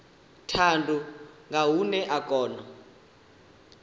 thundu nga hune a kona